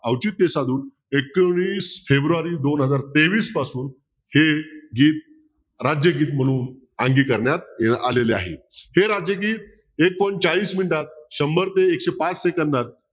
अवचित्य साधून एकवीस फेब्रुवारी दोन हजार तेवीस पासून हे गीत राज्यगीत म्हणून करण्यात आलेले आहे हे राज्यगीत एक point चाळीस मिनटात शंभर ते एकशे पाच सेकंदात